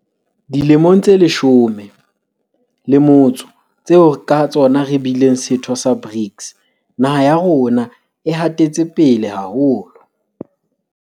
Dilemong tse leshome le motso tseo ka tsona re bileng setho sa BRICS, naha ya rona e hatetse pele haholo.